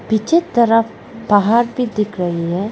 पीछे तरफ पहाड़ भी दिख रही है।